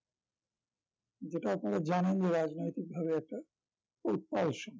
যেটা আপনারা জানেন যে রাজনৈতিক ভাবে একটা উত্তাল সময়